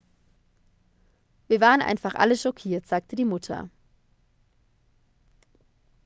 wir waren einfach alle schockiert sagte die mutter